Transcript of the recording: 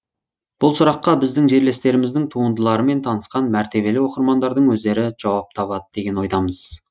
бұл сұраққа біздің жерлестеріміздің туындыларымен танысқан мәртебелі оқырмандардың өздері жауап табады деген ойдамыз